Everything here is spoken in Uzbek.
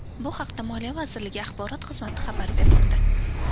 Bu haqda moliya vazirligi axborot xizmati xabar bermoqda .